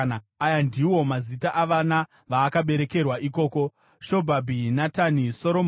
Aya ndiwo mazita avana vaakaberekerwa ikoko: Shobhabhi, Natani, Soromoni,